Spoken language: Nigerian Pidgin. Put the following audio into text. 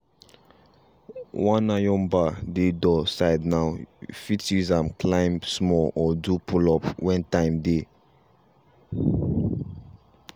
one iron bar dey for door side now fit use am climb small or do pull-up when time dey.